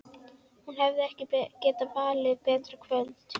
Hann hefði ekki getað valið betra kvöld.